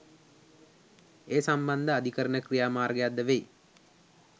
ඒ සම්බන්ධ අධිකරණ ක්‍රියාමාර්ගයක් ද වෙයි